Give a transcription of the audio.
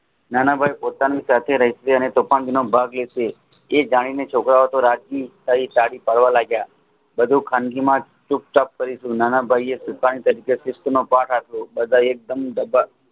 નાનાભાઈ પોતાની સાથે રહેશે અને તોફાનગીમાં ભાગ લેશે તે ગાયને છોકરાઓતો રાજી થવા લાગ્યા વધુ ખાનગીમાં જ નાનાભાઈ એ ભાગ આપ્યો